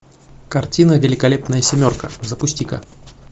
картина великолепная семерка запусти ка